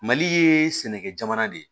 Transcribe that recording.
Mali ye sɛnɛkɛ jamana de ye